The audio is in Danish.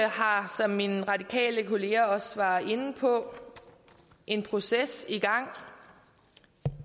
har som min radikale kollega også var inde på en proces i gang